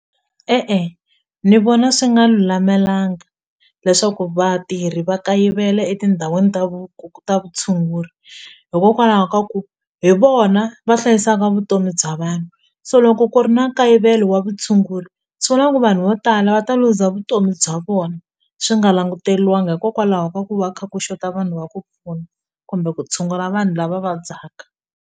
E-e ni vona swi nga lulamelanga leswaku vatirhi va kayivela etindhawini ta ta vutshunguri hikokwalaho ka ku hi vona va hlayisaka vutomi bya vanhu so loko ku ri na nkayivelo wa vutshunguri swi vula ku vanhu vo tala va ta luza vutomi bya vona swi nga languteliwanga hikokwalaho ka ku va kha ku xota vanhu va ku pfuna kumbe ku tshungula vanhu lava vabyaka.